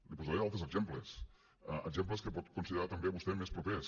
li posaré altres exemples exemples que pot considerar també vostè més propers